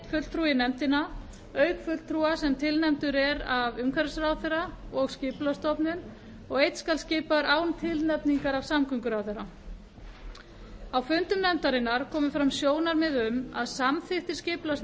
í nefndina auk fulltrúa sem tilnefndir eru af umhverfisráðherra og skipulagsstofnun og einn skal skipaður án tilnefningar af samgönguráðherra á fundi nefndarinnar komu fram sjónarmið um að samþykktir